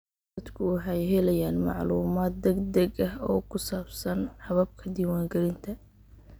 Dadku waxay helayaan macluumaad degdeg ah oo ku saabsan hababka diiwaangelinta.